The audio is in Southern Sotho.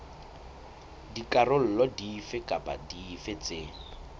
dikarolo dife kapa dife tse